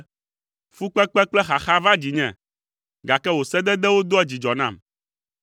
Fukpekpe kple xaxa va dzinye, gake wò sededewo doa dzidzɔ nam.